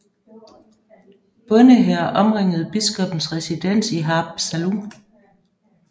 Bondehære omringede biskoppens residens i Haapsalu